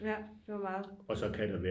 Ja det var meget